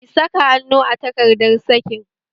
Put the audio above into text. Kin saka hannu a takardar sakin?